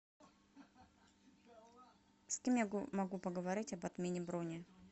с кем я могу поговорить об отмене брони